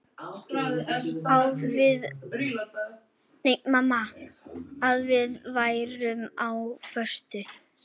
Að við værum á föstu.